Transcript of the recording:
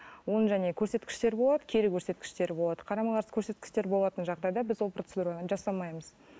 оң көрсеткіштері болады кері көрсеткіштері болады қарама қарсы көрсеткіштер болатын жағдайда біз ол процедураны жасамаймыз